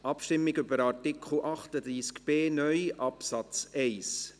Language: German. Wir stimmen ab über Artikel 38b (neu) Absatz 1.